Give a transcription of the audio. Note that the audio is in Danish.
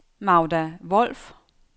Magda Wolff